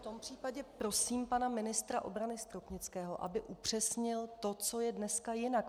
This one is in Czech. V tom případě prosím pana ministra obrany Stropnického, aby upřesnil to, co je dneska jinak.